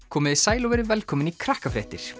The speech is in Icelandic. komiði sæl og verið velkomin í